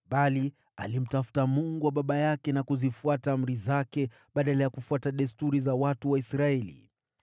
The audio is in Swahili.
bali alimtafuta Mungu wa baba yake na kuzifuata amri zake badala ya kufuata desturi za watu wa Israeli.